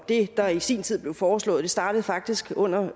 det der i sin tid blev foreslået startede faktisk under